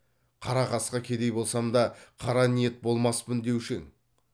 қара қасқа кедей болсам да қара ниет болмаспын деуші ең